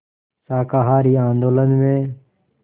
शाकाहारी आंदोलन में